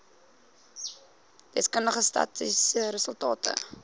deskundige statistiese resultate